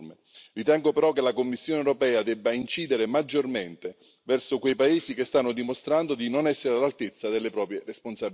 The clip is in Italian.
Ritengo però che la Commissione europea debba incidere maggiormente verso quei paesi che stanno dimostrando di non essere all'altezza delle proprie responsabilità.